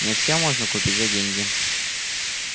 не все можно купить за деньги